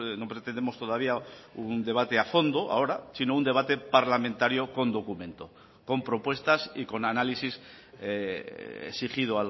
no pretendemos todavía un debate a fondo ahora sino un debate parlamentario con documento con propuestas y con análisis exigido